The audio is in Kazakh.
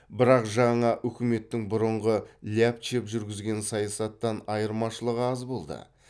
бірақ жаңа үкіметтің бұрынғы ляпчев жүргізген саясаттан айырмашылығы аз болды